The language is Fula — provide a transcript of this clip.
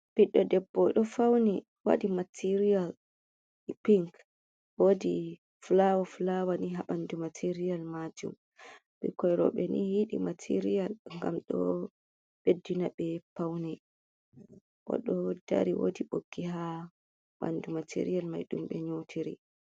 Ɓiɗɗo debbo oɗo fauni waɗi material pink. Wodi fulawa fulawa ni ha ɓandu material majum. Ɓikkoi roɓe ni yiɗi material ngam ɗo beddina ɓe paune. Oɗo dari wodi ɓoggi ha ɓandu material mai ɗum ɓe nyotiri.